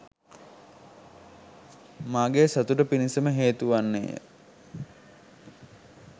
මාගේ සතුට පිණිසම හේතු වන්නේ ය.